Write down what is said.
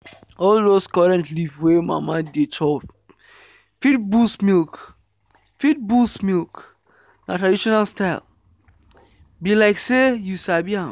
all those correct leaf wey mama dey chop fit boost milk. fit boost milk. na traditional style… be like say you sabi am.